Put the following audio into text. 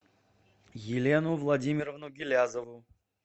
елену владимировну гилязову